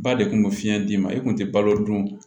Ba de kun bɛ fiɲɛ d'i ma i kun tɛ balo dun